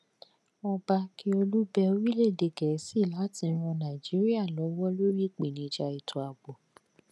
ọba akiolu bẹ orílẹ̀-èdè gẹ̀ẹ́sì láti ran nàìjíríà lọwọ lórí ìpèníjà ètò ààbò